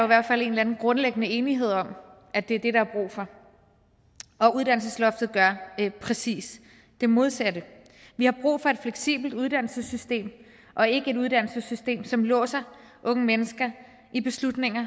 hvert fald en eller anden grundlæggende enighed om at det er det der er brug for uddannelsesloftet giver præcis det modsatte vi har brug for et fleksibelt uddannelsessystem og ikke et uddannelsessystem som låser unge mennesker i beslutninger